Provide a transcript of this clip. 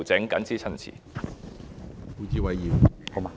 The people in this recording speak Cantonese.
我謹此陳辭。